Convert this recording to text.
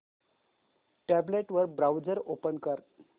tablet वर browser open कर